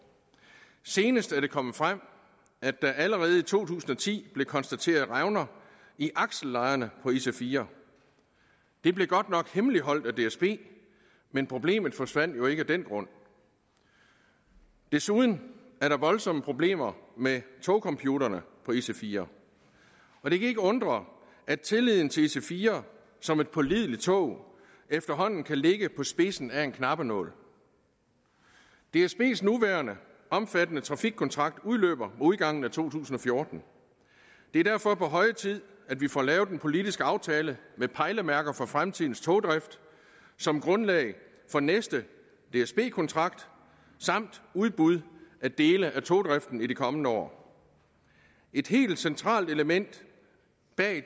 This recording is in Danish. senest er det kommet frem at der allerede i to tusind og ti blev konstateret revner i aksellejerne på ic4 det blev godt nok hemmeligholdt af dsb men problemet forsvandt jo ikke af den grund desuden er der voldsomme problemer med togcomputerne på ic4 og det kan ikke undre at tilliden til ic4 som et pålideligt tog efterhånden kan ligge på spidsen af en knappenål dsbs nuværende omfattende trafikkontrakt udløber udgangen af to tusind og fjorten det er derfor på høje tid at vi får lavet en politisk aftale med pejlemærker for fremtidens togdrift som grundlag for næste dsb kontrakt samt udbud af dele af togdriften i de kommende år et helt centralt element bag